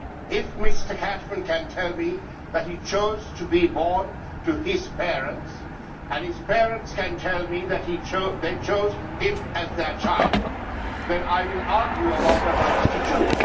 If Mr Cashman can tell me that he chose to be born to his parents and his parents can tell me that they chose him as their child, then I will argue about the right to choose.